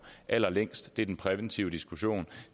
allerlængst med er den præventive diskussion